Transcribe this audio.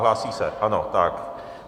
Hlásí se, ano, tak.